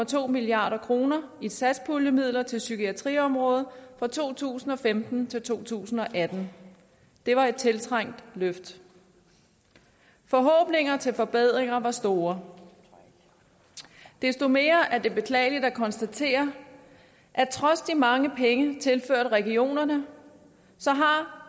to milliard kroner i satspuljemidler til psykiatriområdet fra to tusind og femten til to tusind og atten det var et tiltrængt løft forhåbningerne til forbedringer var store desto mere beklageligt at konstatere at trods de mange penge tilført regionerne har